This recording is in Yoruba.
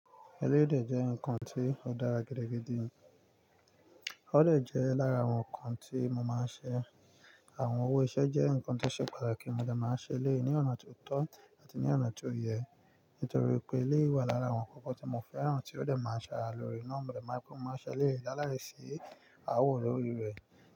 Eléèdè jẹ́ eran kan tí ó dára gidi gidi, ó lè jẹ́ lára àwọn ǹkan tí mo máa ń ṣe. Àwọn owó iṣẹ́ jẹ́ ǹkan tó ṣe pàtàkì, mo dè máa ṣe eléèé ní ọ̀nà tó tọ́ àti ní ọ̀nà tí ó yẹ, nítorí pé eléyi wà lára àwọn nnkan tí mo fẹ́ràn tí ó lè máa ń ṣe ara lóore. Nọ́ọ̀bù rẹ̀ má ipò mó, máa ṣe eléèé dáláre sí àwọn olórí rẹ̀